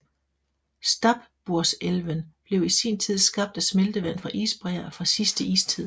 Stabburselven blev i sin tid skabt af smeltevand fra isbræer fra sidste istid